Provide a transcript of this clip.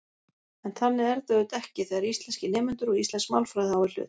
En þannig er þetta auðvitað ekki þegar íslenskir nemendur og íslensk málfræði á í hlut.